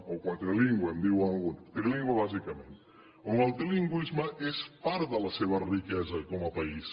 o quadrilingüe em diuen alguns trilingüe bàsicament on el trilingüisme és part de la seva riquesa com a país